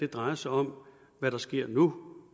drejer sig om hvad der sker nu